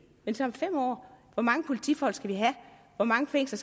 men så om fem år hvor mange politifolk vi skal have hvor mange fængsler